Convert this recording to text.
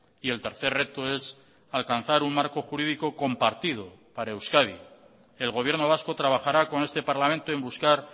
y el tercer reto es alcanzar un marco jurídico compartido para euskadi el gobierno vasco trabajará con este parlamento en buscar